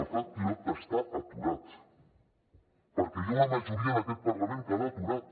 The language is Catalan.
el pla pilot està aturat perquè hi ha una majoria en aquest parlament que l’ha aturat